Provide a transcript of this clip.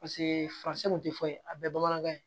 Paseke faransɛ kun tɛ fɔ a bɛɛ ye bamanankan ye